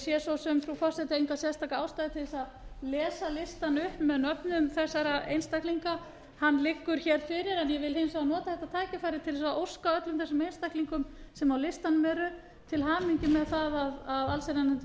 sé frú forseti enga sérstaka ástæðu til að lesa listann upp með nöfnum þessara einstaklinga hann liggur hér fyrir ég vil hins vegar nota þetta tækifæri til að óska öllum þeim einstaklingum sem á listanum eru til hamingju með það að allsherjarnefnd hefur